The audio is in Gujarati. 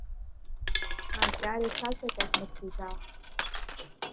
હા ત્યારે થશે કંઈક નક્કી જવાનું.